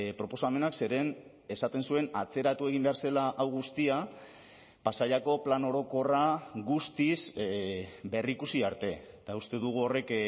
proposamenak zeren esaten zuen atzeratu egin behar zela hau guztia pasaiako plan orokorra guztiz berrikusi arte eta uste dugu horrek